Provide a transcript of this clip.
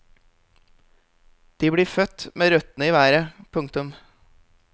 De blir født med røttene i været. punktum